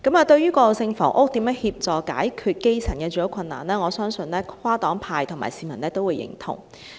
對於以過渡性房屋協助解決基層的住屋困難，我相信跨黨派和市民都會認同。